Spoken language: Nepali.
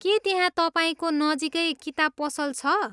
के त्यहाँ तपाईँको नजिकै किताब पसल छ?